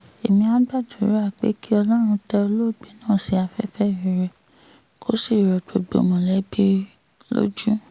èmia gbàdúrà pé kí ọlọ́run tẹ olóògbé náà sí afẹ́fẹ́ rere kó sì rọ gbogbo mọ̀lẹ́bí lójú